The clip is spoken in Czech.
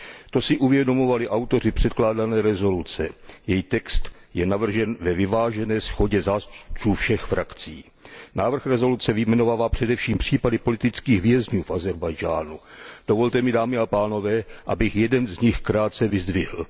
To si uvědomovali autoři předkládané rezoluce, její text je navržen ve vyvážené shodě zástupců všech frakcí. Návrh rezoluce vyjmenovává především případy politických vězňů v Ázerbájdžánu. Dovolte mi dámy a pánové, abych jeden z nich krátce vyzdvihl.